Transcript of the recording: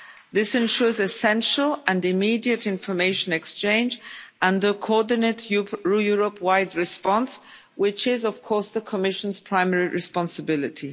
This ensures essential and immediate information exchange and a coordinated Europe wide response, which is, of course, the Commission's primary responsibility.